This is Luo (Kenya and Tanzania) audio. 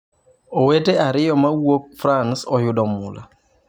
Owete ariyo ma owuok frans oyudo mula!